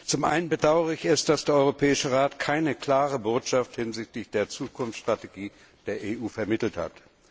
Zum einen bedauere ich es, dass der Europäische Rat keine klare Botschaft hinsichtlich der Zukunftsstrategie der EU vermittelt hat.